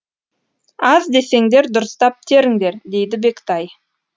аз десеңдер дұрыстап теріңдер дейді бектай